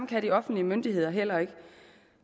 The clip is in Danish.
kan de offentlige myndigheder heller ikke